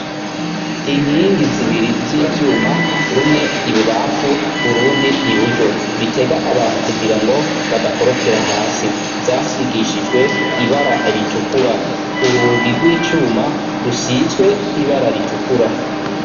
Inkingi zibiri z'ivyuma rumwe ibubamfu urundi iburyo bitega abantu kugira ngo badakorokera hasi zasigishijwe ibara ritukura urugi gw' icuma rusizwe ibara ritukura.